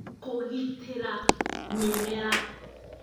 Kũgitĩra mĩmera